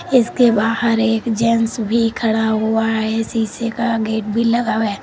इसके बाहर एक जेंट्स भी खड़ा हुआ है शीशे का गेट भी लगा हुआ है।